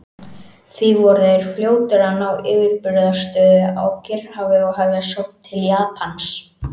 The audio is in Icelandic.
Því voru þeir fljótir að ná yfirburðastöðu á Kyrrahafi og hefja sókn til Japans.